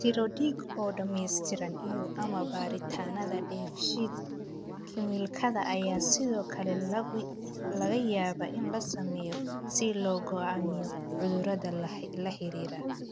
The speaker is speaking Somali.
Tiro dhiig oo dhammaystiran iyo/ama baaritaannada dheef-shiid kiimikaadka ayaa sidoo kale laga yaabaa in la sameeyo si loo go'aamiyo cudurrada la xiriira.